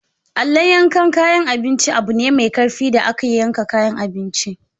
Allon yakan kayan abinci abune mai karfi da ake yankan kayan abinci.